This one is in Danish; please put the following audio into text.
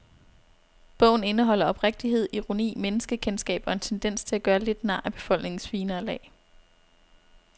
Bogen indeholder oprigtighed, ironi, menneskekendskab og en tendens til at gøre lidt nar af befolkningens finere lag.